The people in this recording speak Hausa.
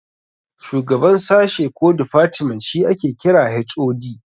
Shugaban sashe ko difatmen shi ake kira HOD